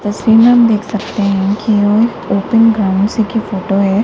तस्वीर में हम देख सकते है कि ओपन ग्राउंड्स की फोटो है।